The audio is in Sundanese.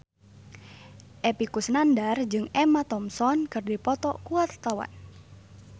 Epy Kusnandar jeung Emma Thompson keur dipoto ku wartawan